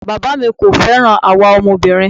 Bàbáà mi kò fẹ́ràn àwa ọmọbìnrin.